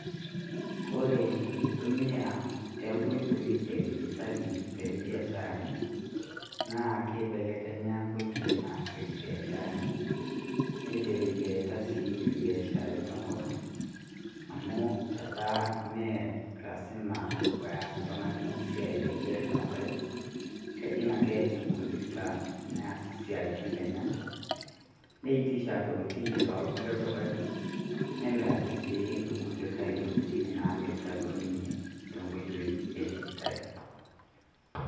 Kore enkitumia oo nkoitoii edijitali too biasharani naa keibelekenya enkoitoi naasieki ebiasharani. Neiteleliata sii ebiasharani tenkop ang' amu etaa Mee lasima peas oltung'ani esiai aigerr too Nkaik, kejing' ake enkomputa neas esiatin enyenak neitisha Intokitin tolkulie dukai nemiraki sii ilkulikae Intokitin naamirita duo ninye too nkoitoi edijitali.